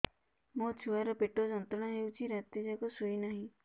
ମୋ ଛୁଆର ପେଟ ଯନ୍ତ୍ରଣା ହେଉଛି ରାତି ଯାକ ଶୋଇନାହିଁ